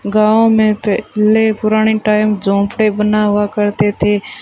गांव में पहले पुराने टाइम झोपड़े बना हुआ करते थे।